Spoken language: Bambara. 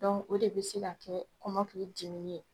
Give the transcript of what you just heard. o de bɛ se ka kɛ kɔmɔkili dimini ye